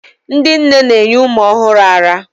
ndị nne na-enye ụmụ ọhụrụ ara